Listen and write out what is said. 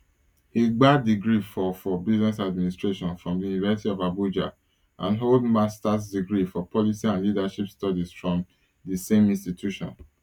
e gba degree for for business administration from di university of abuja and hold masters degree for policy and leadership studies from di same institution